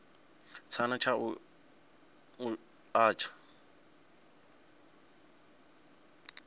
tshana tsha u a tsha